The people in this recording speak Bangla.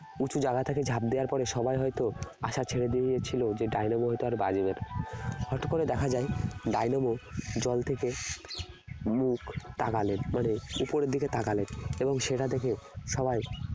উঁচু জায়গা থেকে ঝাপ দেয়ার পরে সবাই হয়তো আশা ছেড়ে দিয়েছিল যে ডায়নামো হয়তো আর বাঁচবে না হঠাৎ করে দেখা যায় ডায়নামো জল থেকে মুখ তাকালেন মানে উপরের দিকে তাকালেন এবং সেটা দেখে সবাই